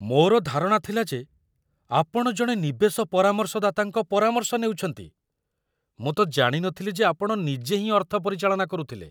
ମୋର ଧାରଣା ଥିଲା ଯେ ଆପଣ ଜଣେ ନିବେଶ ପରାମର୍ଶଦାତାଙ୍କ ପରାମର୍ଶ ନେଉଛନ୍ତି, ମୁଁ ତ ଜାଣି ନଥିଲି ଯେ ଆପଣ ନିଜେ ହିଁ ଅର୍ଥ ପରିଚାଳନା କରୁଥିଲେ!